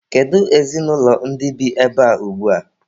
Kedu ezinụlọ ndị bi ebea ugbua?